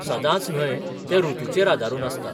सदांच न्हय, तें ऋतूचेर आदारून आसता.